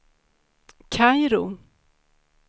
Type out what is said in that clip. Kairo